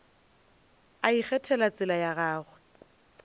a ikgethelago tsela ya gagwe